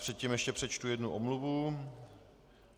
Předtím ještě přečtu jednu omluvu.